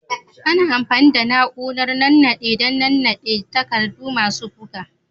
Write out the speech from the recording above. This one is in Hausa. Ana amfani da na'urar nannaɗe dan nannaɗe takardu masu buga.